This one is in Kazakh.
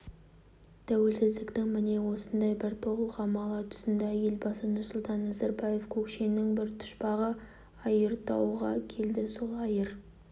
тәуелсіздіктің міне осындай бір толғамалы тұсында елбасы нұрсұлтан назарбаев көкшенің бір пұшпағы айыртауға келді сол айыр